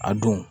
A don